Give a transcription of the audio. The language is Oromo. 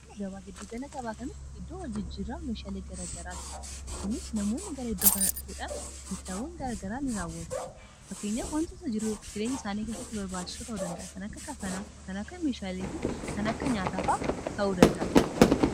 Gagabaa giddu gala gabaa kanatti biddoo waljijjiirraa meeshaalii garagaraa ti kunis namoonni gara iddoo kanaan dhufuudhaan biittaawwan garagaraa in raawwatu fakkeenya wantitosa jiruu f jirenya isaanii keessatti barbaachisuu ta'uu danda'a ka kafanakan akka meeshaalii fi kan akka nyaataafaa ta'uu danda'a